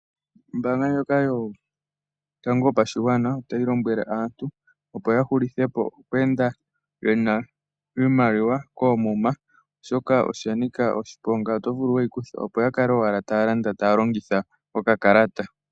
Ombaanga ndjoka yotango yopashigwana otayi lombwele aantu opo ya hulithe po oku enda ye na iimaliwa koomuma oshoka osha nika oshiponga, oto vulu wu yi kuthwe. Ya kale owala ta ya landa, taya longitha okakalata.